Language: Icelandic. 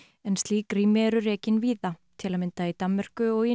en slík rými eru rekin víða til að mynda í Danmörku og